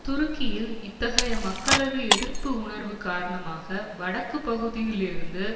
துருக்கியில் இத்தகைய மக்களது எதிர்ப்பு உணர்வு காரணமாக வடக்கு பகுதியிலிருந்து